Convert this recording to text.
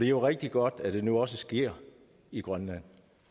jo rigtig godt at det nu også sker i grønland